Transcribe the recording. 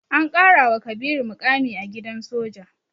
An ƙarawa Kabiru muƙami a gidan soja.